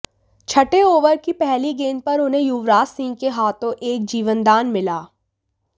छठे ओवर की पहली गेंद पर उन्हें युवराज सिंह के हाथों एक जीवनदान मिला